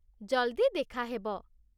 ଜଲ୍‌ଦି ଦେଖା ହେବ!